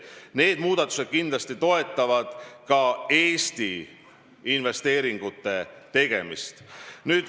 Need muudatused kindlasti toetavad ka Eesti investeeringute tegemist.